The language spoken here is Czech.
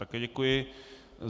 Také děkuji.